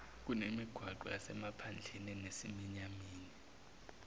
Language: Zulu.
kunemigwaqo yasemaphandleni enesiminyaminya